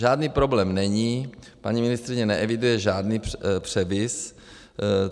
Žádný problém není, paní ministryně neeviduje žádný převis.